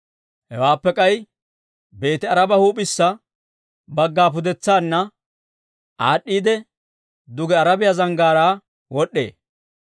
Hewaappe k'ay Beeti-Aaraba huup'issa bagga pudetsaanna aad'd'iidde, duge Arabiyaa zanggaaraa wod'd'ee.